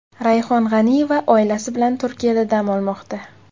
Rayhon G‘aniyeva oilasi bilan Turkiyada dam olmoqda .